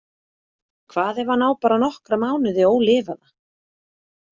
Hvað ef hann á bara nokkra mánuði ólifaða?